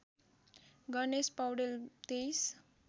Ganesh Paudel २३